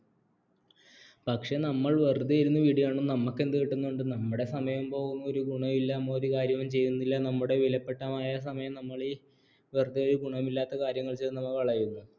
പക്ഷേ നമ്മൾ വെറുതെ ഇരുന്ന് video കാണൂ നമുക്കെന്തു കിട്ടുന്നുണ്ട് നമ്മുടെ സമയം പോകും ഒരു ഗുണവുമില്ല നമ്മൾ ഒരു കാര്യവും ചെയ്യുന്നില്ല നമ്മുടെ വിലപ്പെട്ട മായ സമയം നമ്മളീ വെറുതെ ഒരു ഗുണവുമില്ലാത്ത കാര്യങ്ങൾ ചെയ്തു നമ്മൾ കളയുന്നു